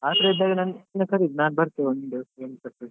ಆತರ ಇದ್ದಾಗ ನನ್ನನ್ನು ಕರೀರಿ ನಾನ್ ಬರ್ತೆ ಒಂದು .